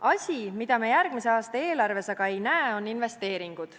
Asi, mida me järgmise aasta eelarves aga ei näe, on investeeringud.